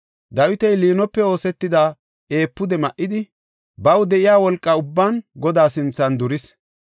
Dawiti liinope oosetida efuude ma7idi, baw de7iya wolqa ubban Godaa sinthan duris.